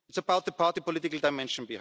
It's about the party political dimension.